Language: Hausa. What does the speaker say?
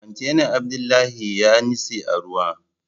Kwantenan Abdullahi yanitse a ruwa